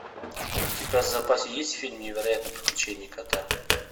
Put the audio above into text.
у тебя в запасе есть фильм невероятные приключения кота